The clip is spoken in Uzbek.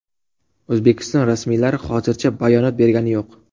O‘zbekiston rasmiylari hozircha bayonot bergani yo‘q.